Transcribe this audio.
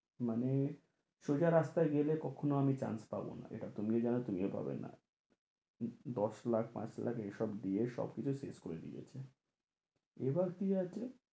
মানে সোজা রাস্তায় গেলে কক্ষনো আমি chance পাবো না, এটা তুমিও জানো তুমিও পাবে না দশ লাখ পাঁচ লাখ এই সব দিয়ে সব কিছু শেষ করে দিয়েছে এবার কি আছে